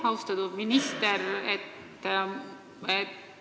Austatud minister!